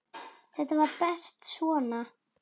Þetta var best svona.